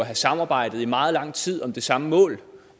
har samarbejdet i meget lang tid om det samme mål